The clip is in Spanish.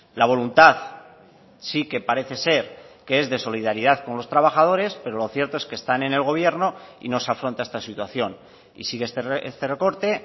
la voluntad sí que parece ser que es de solidaridad con los trabajadores pero lo cierto es que están en el gobierno y no se afronta esta situación y sigue este recorte